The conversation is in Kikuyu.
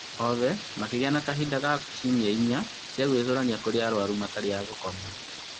Oothe makĩgĩa na kahinda ka ciumia inya cia gũĩcũrania kũrĩ arwaru matarĩ a-gũkoma